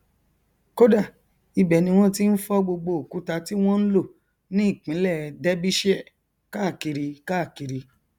kódà ibẹ ni wọn ti n fọ gbogbo òkúta ti wọn n lò ní ìpínlẹ derbyshire káàkiri káàkiri